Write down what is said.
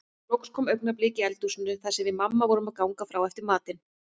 Loks kom augnablik í eldhúsinu þar sem við mamma vorum að ganga frá eftir matinn.